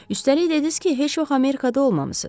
Üstəlik dediniz ki, heç vaxt Amerikada olmamısınız.